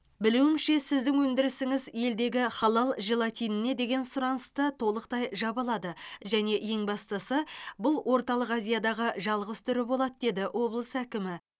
білуімше сіздің өндірісіңіз елдегі халал желатиніне деген сұранысты толықтай жаба алады және ең бастысы бұл орталық азиядағы жалғыз түрі болады деді облыс әкімі